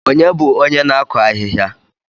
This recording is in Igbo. Ònye bụ onye na-akụ ahịhịa?